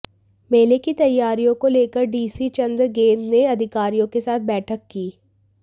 मेले की तैयारियों को लेकर डीसी चंद्र गैंद ने अधिकारियों के साथ बैठक की